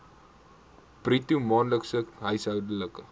bruto maandelikse huishoudelike